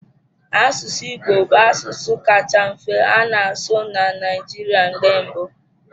Asụsụ Igbo bụ asụsụ kacha mfe a na-asụ na Naịjirịa mgbe mbụ